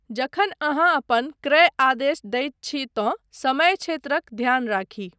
जखन अहाँ अपन क्रय आदेश दैत छी तँ समय क्षेत्रक ध्यान राखी।